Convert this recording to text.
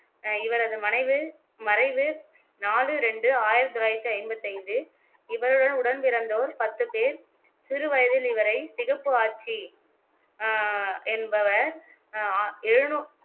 அஹ் இவரது மனைவு மறைவு நாலு ரெண்டு ஆயிரத்தி தொள்ளாயிரத்தி ஐம்பத்தி ஐந்து இவருடன் உடன்பிறந்தோர் பத்து பேர் சிறு வயதில் இவரை சிகப்பு ஆச்சி ஆஹ் என்பவர் அஹ் ஆ எழுனூ